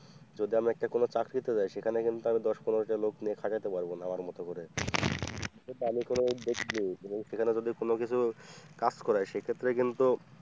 যদি আমি একটা কোন চাকরিতে যায় সেখানে কিন্তু আমি দশ পনেরো টা লোক নিয়ে খাটাতে পারব না আমার মত করে সেখানে যদি কোন কিছু কাজ করায়, সেক্ষেত্রে কিন্তু,